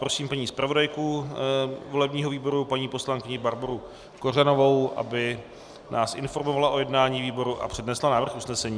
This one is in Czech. Prosím paní zpravodajku volebního výboru, paní poslankyni Barboru Kořanovou, aby nás informovala o jednání výboru a přednesla návrh usnesení.